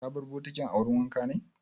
Ka bar bokitin a wurin wanka ne?